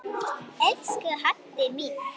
Elsku Haddi minn.